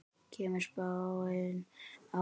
Kemur spáin á óvart?